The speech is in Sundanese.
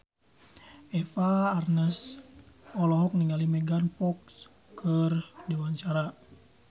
Eva Arnaz olohok ningali Megan Fox keur diwawancara